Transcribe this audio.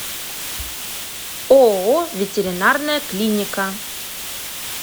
ооо ветеринарная клиника